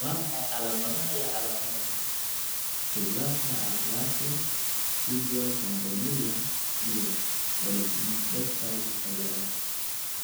Waa maxay calaamadaha iyo calaamadaha Fiblarka aplasia, tibial campomelia, iyo oligosyndactyly ciladaha